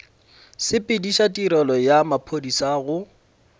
sepediša tirelo ya maphodisa go